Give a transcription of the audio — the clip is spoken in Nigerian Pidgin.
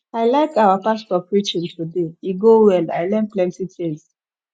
i like our pastor preaching today e go well i learn plenty things